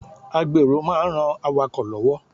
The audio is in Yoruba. A gbèrò máa ń ran awakọ̀ lọ́wọ́.